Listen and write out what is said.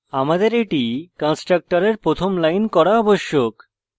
আমাদের এটি কন্সট্রকটরের প্রথম line করা আবশ্যক